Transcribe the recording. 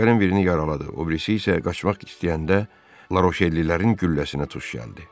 Əsgərin birini yaraladı, o birisi isə qaçmaq istəyəndə Laroşellilərin gülləsinə tuş gəldi.